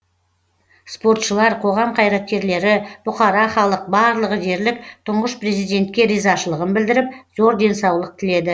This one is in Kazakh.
спортшылар қоғам қайраткерлері бұқара халық барлығы дерлік тұңғыш президентке ризашылығын білдіріп зор денсаулық тіледі